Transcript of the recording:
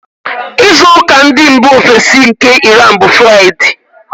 Izu ụka ndị mbà ofesi nke Iran, bụ Fraịde.